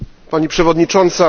Pani Przewodnicząca!